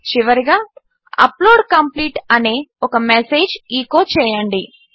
చివరిగా upload complete అనే ఒక మెసేజ్ను ఎచో చేయండి